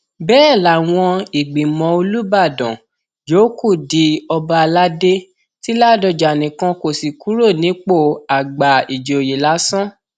bẹẹ làwọn ìgbìmọ olùbàdàn yòókù di ọba aládé ti ládọjà nìkan kò sì kúrò nípò àgbà ìjòyè lásán